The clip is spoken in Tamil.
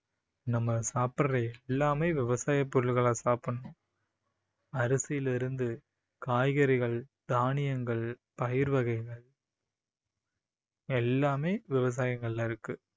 நம்ம சாப்பிடுற எல்லாமே விவசாய பொருள்களா சாப்பிடணும் அரிசியில இருந்து காய்கறிகள், தானியங்கள், பயிர் வகைகள் எல்லாமே விவசாயங்களில இருக்கு